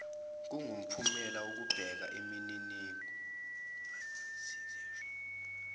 kungumphumela wokubeka imininingo